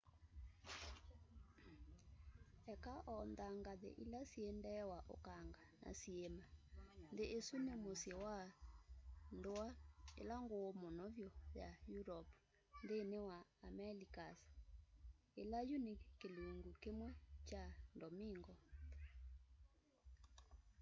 eka o nthangathĩ ila syĩ ndee wa ũkanga na syiima nthi isũ ni mũsyi wa ndua ila nguu muno vyu ya europe nthini wa amelicas ila yu ni kilungu kimwi kya domingo